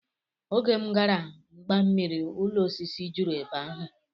Oge m gara mbammiri ụlọ osisi juru ebe ahụ